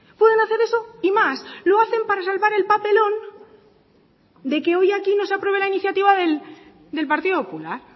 pueden hacer eso y más lo hacen para salvar el papelón de que hoy aquí no se apruebe la iniciativa del partido popular